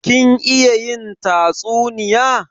Kin iya yin tatsuniya?